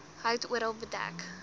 hout oral bedek